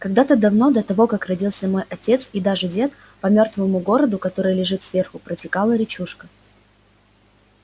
когда-то давно до того как родился мой отец и даже дед по мёртвому городу который лежит сверху протекала речушка